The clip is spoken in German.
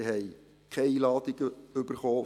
Sie haben keine Einladung erhalten;